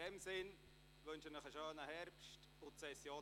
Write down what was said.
Ich wünsche Ihnen einen schönen Herbst.